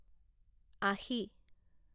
আশি